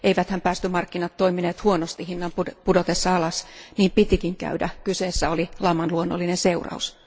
eiväthän päästömarkkinat toimineet huonosti hinnan pudotessa alas, niin pitikin käydä, kyseessä oli laman luonnollinen seuraus.